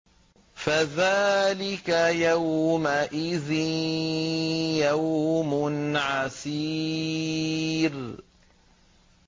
فَذَٰلِكَ يَوْمَئِذٍ يَوْمٌ عَسِيرٌ